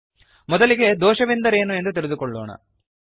httpspoken tutorialorg ಮೊದಲಿಗೆ ದೋಷವೆಂದರೇನೆಂದು ತಿಳಿದುಕೊಳ್ಳೋಣ